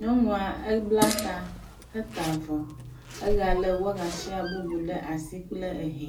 Nyɔnua ebla ta heta avɔ egale wagasia bubu ɖe asi kple hɛ.